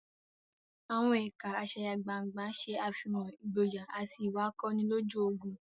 Àwọn ẹ̀ka asayagbangna ṣe àfihàn ìgboyà àti ìwà akọni lójú ogun.